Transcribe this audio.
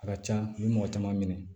A ka can u bɛ mɔgɔ caman minɛ